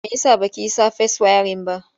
Me ya sa ba ki yi safes wayarin ba?